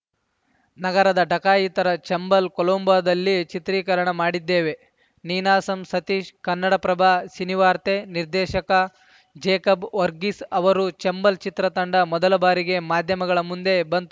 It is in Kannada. ನಗರದ ಡಕಾಯಿತರ ಚಂಬಲ್‌ ಕೊಲಂಬೋದಲ್ಲಿ ಚಿತ್ರೀಕರಣ ಮಾಡಿದ್ದೇವೆ ನೀನಾಸಂ ಸತೀಶ್‌ ಕನ್ನಡಪ್ರಭ ಸಿನಿವಾರ್ತೆ ನಿರ್ದೇಶಕ ಜೇಕಬ್‌ ವರ್ಗೀಸ್‌ ಅವರು ಚಂಬಲ್‌ ಚಿತ್ರತಂಡ ಮೊದಲ ಬಾರಿಗೆ ಮಾಧ್ಯಮಗಳ ಮುಂದೆ ಬಂತು